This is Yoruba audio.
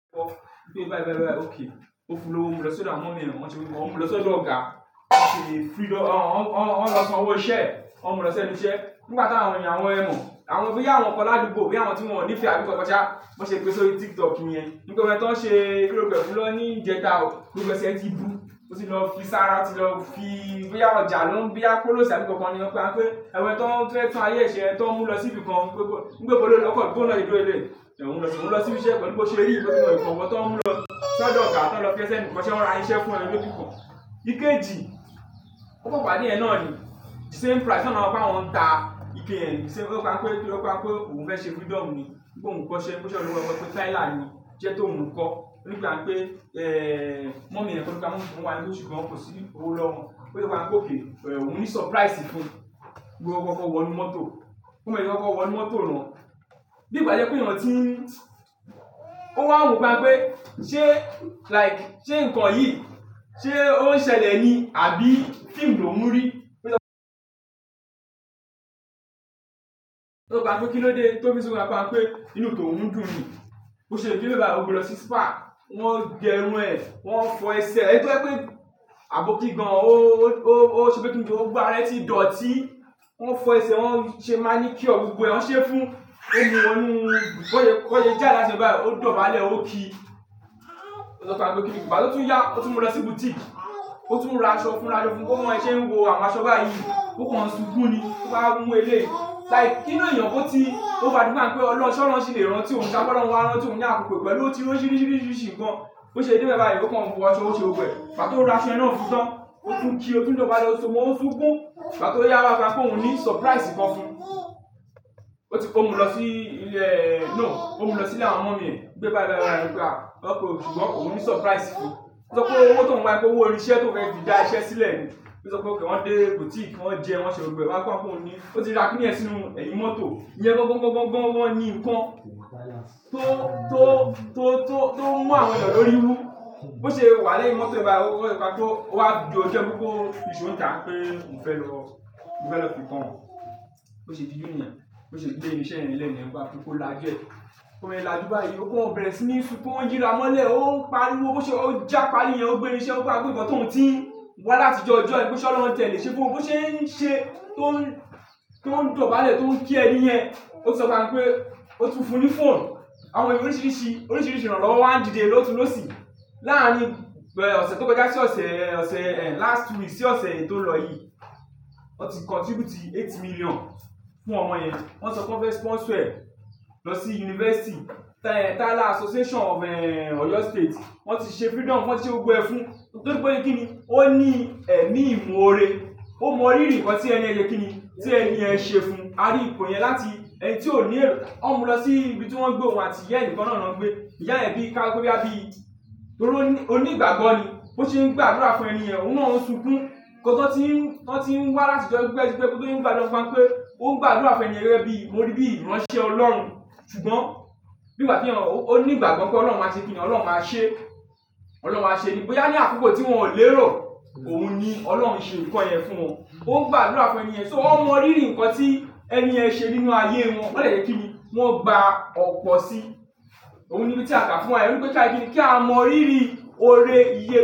Bí ó bá ń bá ọ bá ọ bá ọ bá ọ okay. Mo fún lówó, o mu lọ sọ́dọ̀ mi o rántí orúkọ wọn, o mu lọ sọ́dọ̀ ọ̀gá. Ó ṣe freedom, wọ́n lọ sanwó iṣẹ́, wọ́n mú lọ sí ẹnu iṣẹ́. Nígbà tí àwọn ènìyàn, àwọn ẹ̀kún, àwọn bíi àwọn kàn ládùúgbò, bíi àwọn tí wọ́n ò ní ìfẹ́ àbí kọ́. Kọjá, bi won ṣe gbe si ori tiktok nìyẹn. Nígbà ẹni tí wọ́n ṣe kí lórúkọ ẹ fún, lọ ní ìjẹta o, gbogbo ẹsẹ̀ ẹ tí ìbú, ó tì lọ fi sára ti lọ fi bíi àwọn ọjà lọ bíi àwọn kólòsì àbí kankan ni wọ́n pa. Wọ́n pẹ́ ẹni tí wọ́n fẹ́ tú ayé ṣe, tí wọ́n mú lọ sí ibìkan. Ní pé ibo lo n lọ o kan bo hun na ti ṣe dúró leléyi, òhun lọ sí ibi iṣẹ́, pẹ̀lú bo ṣe ri yi, wọ́n mú lọ ibìkan wọ́n tí wọ́n mú lọ sí ọ̀dọ̀ ọ̀gá tí wọ́n fi ẹ́ se ẹnu ikọṣẹ wọn ra ìrìn iṣẹ́ fún ẹ. Ikeji, ó kan pàdé ẹ náà ni same price na lọ ni àwọn n ta iké yen, wípé ohun fẹ́ ṣe freedom ni price fún, mo kọ́ kọ́ wọnú moto, bi mo ṣe kọ́kọ́ wonu moto na, bi gba to jẹ́ wípé ẹ̀yán ti ní o wa wo ni pa pé ṣe nkan yi o n ṣẹlẹ̀ ni abi film lóhùn n ri. Taa fi sọ fún wá pe, to fi n sọ fún wá pé inu tóhun dun ni ó ṣe bí bẹ́ẹ̀ bá, ó gbe lọ sí spa, wọ́n gẹ irun ẹ, wọ́n fọ ẹsẹ̀ ẹ. Nítorí pé àbókì gan, ó ṣe bíi kí nǹjẹ́ ó gbá ara rẹ̀ tí dọ̀tí. Wọ́n fọ ẹsẹ̀, wọ́n ṣe manicure gbogbo ẹ won ṣée fún un. Òní, wọ́n mú, bọ́ ṣe ìjà lasan bá i, ó dọ̀bálẹ̀, ó ki. Ó sọ pé kí ló dé. Nígbà tí ó tún yà, ó tún mú lọ sí boutique, ó tún ra aṣọ fún un, ra aṣọ fún un. Kí wọ́n ṣe ń wọ àwọn aṣọ báyìí. Ó kan súkún ni, tó bá mú eléyìí. Like, kín ni ènìyàn kó tí ó bá ti kọjá pé Ọlọ́run ṣọ́ ọ lọ́run ṣì lè rán tí òun sá kú lọ́run wọ́n á rán tí òun ní àkókò pẹ̀lú ó ti rí òníṣíríṣí nkàn. Bo ṣe dé bẹ bá yi, ó kan wọ aṣọ, ó ṣe gbogbo ẹ. Nígbà tí ó ra aṣọ náà fún tán, ó tún kí, ó tún dọ̀bálẹ̀, o so mọ, o ń súnkún." Nígbà tí ó yà wá pa wípé òun ní surprise kan fún un. Ó ti mú lọ sí ilẹ̀, no, ó mú lọ sí ilẹ̀ àwọn ọmọ mi ẹ, gbé bá ẹ bá ẹ bá ẹ gba. Ọ́ kọ, ṣùgbọ́n òun ní surprise fún un. Ó sọ wípé owó tí wọ́n pa wípé owó ìrìn íṣẹ́ tó fẹ́ di dá iṣẹ́ sílẹ̀ ni. Ó sọ wípé kí wọ́n dé boutique, wọ́n jẹun, wọ́n ṣe gbogbo ẹ̀. Wọ́n pa wípé òun ní, ó ti ra kíní ẹ sínú ẹ̀yìn mọ́tò. Ìyẹn gọ́n gọ́n gọ́n gọ́n gọ́n ni nǹkan tó, tó, tó, tó, tó mú àwọn ẹ̀yán lórí í wú. Bo ṣe wa lẹ́yìn mọto ẹ bayi, o wa ni ko ni sọ ń ta pe ohun fẹ́ lọ fi nkan han bo ṣe di jù nìyẹn, bo ṣe dé ibi iṣẹ́ ẹni lẹ́ẹ̀ni ni wọ́n bá fún kó la ju ẹ. Bo ṣe lájùú bà yìí, ó kan ọ bẹ̀rẹ̀ sí ní sún kun, ó ń yíra mọ́lẹ̀, ó ń pariwo, ó ṣe, ó ń jàpá rí i ẹni, ó gbé ìrìn iṣẹ́, ó gba agbó ibọ tí òun ti wá láti ọjọ́ ọjọ́ yẹn pé ṣọ́ ọ lọ́nà tẹ̀lé ṣe fún un. Ó ṣe ń ṣe, tó ń, tó ń dọ̀bálẹ̀, tó ń kí ẹni yẹn. Ó sọ fún wá pé ó tún fún un ní phone. Àwọn ẹ̀bùn oríṣiríṣi, oríṣiríṣi ìrànlọ́wọ́ wa n dìde. Láàárín ọ̀sẹ̀ tó kọjá sí ọ̀sẹ̀, ọ̀sẹ̀ last week sí ọ̀sẹ̀ yìí tó lọ yìí. Wọ́n ti contribute eight million fún ọmọ yẹn. Wọ́n sọ pé wọ́n fẹ́ sponsor ẹ lọ sí university. Tiler Association of Oyo State. Wọ́n ti ṣe freedom fún ẹ, wọ́n ti ṣe gbogbo ẹ fún un. Nítorí pé kí ni, ó ní ẹ̀mí ìmọ̀ oore. Ó mọ rírì nǹkan tí ẹni yẹn ṣe kí ni, tí ẹni yẹn ṣe fún un. A rí ipò yẹn láti ẹni tí ò ní, ó mú lọ sí ibi tí wọ́n gbé òun àti ìyá ẹni kan náà rán pé ìyá ẹbí ká kú bí i ẹbí. Bi, onígbàgbó ni ó ṣe ń gba àdúrà fún ènìyàn, óhun báa ń sùnkún. Ọ̀tọ̀ọ̀tọ̀ tí wọ́n ti ń wá láti ọjọ́ gbígbẹ sí pé kódà yín bá dán an fáwọn pé ó ń gba àdúrà fún ènìyàn gègé ẹbí, mo rí bí i ránṣẹ́ Ọlọ́run. Ṣùgbọ́n nígbà tí ènìyàn, ó ní ìgbàgbọ́ pé Ọlọ́run máa ṣe kí ni, Ọlọ́run máa ṣe. Ọlọ́run máa ṣe ẹni bí i ẹni àkókò tí wọ́n ò lè rọ̀, òun ni Ọlọ́run ṣe nǹkan yẹn fún wọn. Ó ń gba àdúrà fún ènìyàn, so wọ́n mọ rírì nǹkan tí ẹni yẹn ṣe nínú ayé wọn. Lẹ́yìn tí kí ni, wọ́n gba ọ̀pọ̀ sí i. Ohun níbi ti a gba fún ẹ, wípé ki a ṣe kíni, ki a mọ rírí ore.